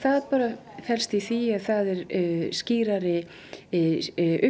það felst í því að það er skýrari